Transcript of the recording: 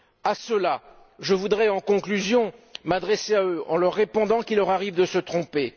À cela, je voudrais, en conclusion, m'adresser à eux, en leur répondant qu'il leur arrive de se tromper.